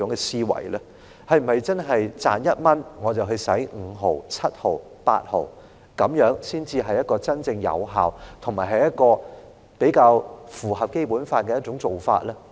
是否真的是賺1元，我便花5毫、7毫、8毫，這樣才是真正有效及符合《基本法》的做法？